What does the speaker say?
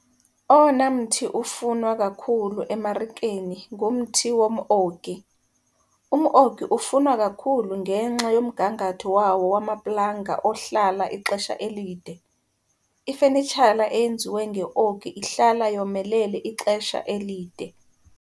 Owona mthi ufunwa kakhulu emarikeni ngumthi wom-oki, um-oki ufunwa kakhulu ngenxa yomgangatho wawo wamaplanga ohlala ixesha elide. Ifenitshala eyenziwe ngeoki ihlala yomelele ixesha elide.